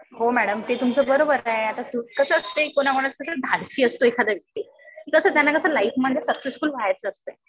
हो मॅडम. ते तुमचं बरोबर आहे. आता कसं असतंय कोणाकोणाचं कसं धाडसी असतो एखादा व्यक्ती. तस त्यांना लाईफमध्ये सक्सेसफुल व्हायचं असते.